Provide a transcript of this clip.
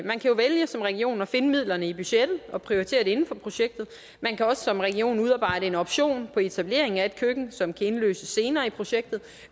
man kan jo vælge som region at finde midlerne i budgettet og prioritere det inden for projektet man kan også som region udarbejde en option på etablering af et køkken som kan indløses senere i projektet